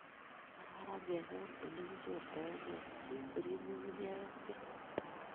Kararan kekol olekichortagei si korib nyung'unyek ak beek